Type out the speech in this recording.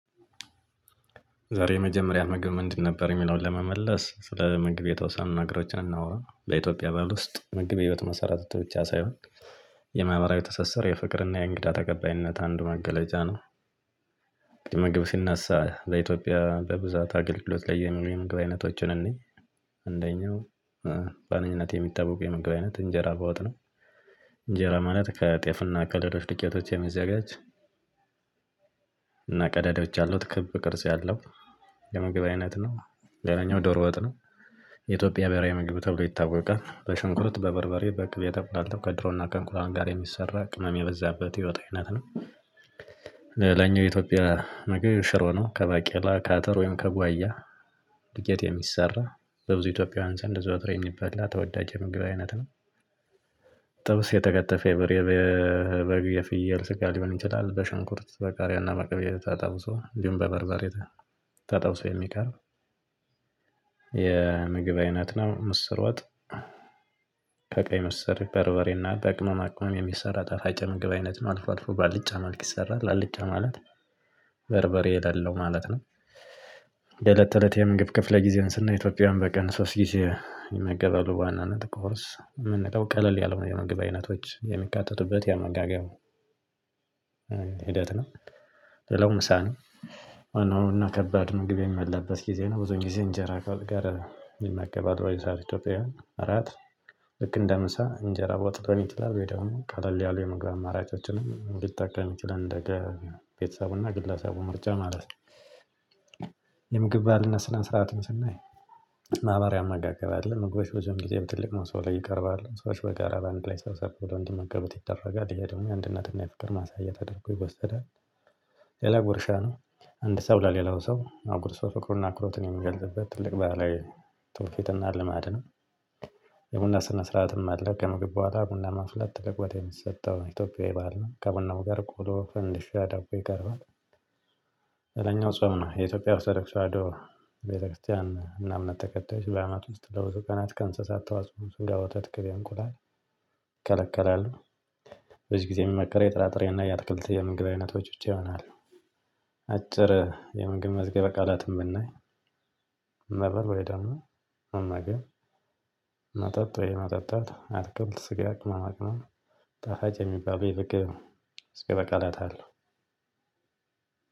ዛሬ የመጀመሪያህ ምግብ ምንድ ነበር የሚለውን ለመመለስ ስለ ምግብ የተወሰኑ ነገሮችን እናውራ በኢትዮጵያ ባህል ውስጥ ምግብ የህይወት መሰረተ ብቻ ሳይሆን የማህበራዊ ትስስር የፍቅርና የእንግዳ ተቀባይነት አንድ መገለጫ ነው። ምግብ ሲነሳ በኢትዮጵያ በብዛት አገልግሎት ላይ የሚውሉ የምግብ አይነቶችን እንይ። በዋነኝነት የሚታወቀው የምግብ አይነት እንጀራ በወጥ ነው። እንጀራ ማለት ከጤፍ እና ከሌሎች ዱቄቶች የሚዘጋጅ እና ቀዳዳዎች ያሉት ክብ ቅርጽ ያለው የምግብ አይነት ነው። ሌላኛው ዶሮ ወጥ ነው። የኢትዮጵያ ብሄራዊ ምግብ ተብሎ ይታወቃል በሽንኩርት በበርበሬ በቅቤ ተቁላልቶ ከዶሮናከእንቁላል ጋር የሚሰራ ቅመም የበዛበት የወጥ አይነት ነው። ሌላኛው የኢትዮጵያ ምግብ ሽሮ ነው ከባቄላ ካተር ወይም ከጓያ ዱቄት የሚሰራ በብዙ ኢትዮጵያውያን ዘንድ ዘወትር የሚበላ ተወዳጅ የምግብ አይነት ነው። ጥብስ የተከተፈ የበሬ የበግ የፍየል ስጋ ሊሆን ይቺላል በሽንኩርት በቃርያ እና በቅቤ ተጠብሶ እንዲሁም በበርበሬ ተጠብሶ የሚቀርብ የምግብ አይነት ነው ምስር ወጥ። ምስር በርበሬና በቅመማ ቅመም የሚሰራ ጣፋጭ የምግብ አይነት ነው አልፎ አልፎ ባልጫ ማልቅ ይሰራል አልጫ ማለት በርበሬ የለለው ማለት ነው። የእለት ተእለቴ ምግብ ክፍለ ጊዜውን ስናይ ኢትዮጵያውያን በቀን ሶስት ጊዜ ይመገባሉ ዋና ቁርስ የምንለው ቀለል ያሉ የምግብ አይነቶች የሚካተቱበት የአመጋገብ ሂደት ነው። ሌላው ምሳ ነው። ዋናው እና ከባድ ምግብ የሚበላበት ጊዜ ነው ብዙን ጊዜ እንጀራ ከወጥ ጋር ይመገባል በዚህ ሰዓት ኢትዮጵያውያን አራት ልክ እንደ ምሳ እንጀራ ወጥቶን ይችላል ወይ ደግሞ ቀለል ያሉ የምግባብ አማራጮችንም ሊጠቀም ይችላል እንደየ ቤተሰቡና ግለሰቡ ምርጫ ማለት ነው። የምግብ ባህልና ስነ ስርዓቱን ስናይ ማህበራዊ አመጋገብ አለ ምግቦች ብዙውን ግዜ ትልቅ መሶብ ላይ ይቀርባል ሰዎች በጋራ በአንድ ላይ ሰብ ሰብ ብለው እንዲመገቡት ይደረጋል ይሄ ደግሞ የአንድነትና የፍቅር ማሳያ ተደርጎ ይወሰዳል። ሌላ ጉርሻ ነው። አንድ ሰው ለሌላው ሰው አጉርሶ ፍቅሩን እና አክብሮቱን የሚገልጽበት ትልቅ ባህላዊ ትውፊትና ልማድ ነው። የቡና ስነ ስርዓትም አለ ከምግብ ቡሃላ ቡና ማፍላት ትልቅ ቦታ የሚሰጠው ኢትዮጵያዊ ባህል ነው። ከቡናው ጋር ቆሎ ፈንድሻ ዳቦ ይቀርባል። ሌላኛው ጾም ነው የኢትዮጵያ ኦርቶዶክስ ቤተክርስቲያን እና እምነት ተከታዮች በአመት ውስጥ ለብዙ ቀናት ከእንስሳት ተዋጽኦ ስጋ ወተት ቅቤ እንቁላል ይከለከላሉ። ጊዜ የሚመከረው የጥራጥሬና የአትክልት የምግብ አይነቶች ብቻ ይሆናለ። አጭር የመዝገብ ቃላትን ብናይ ነበር ወይ ደግሞ እና ግን መጠጥ ወይ መጠጣት አትክልት ስጋ ቅመማ ቅመም ጣፋጭ የሚባል ይርቅ መዝገበ ቃላት አለው።